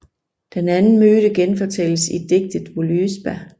Den anden myte genfortælles i digtet Völuspá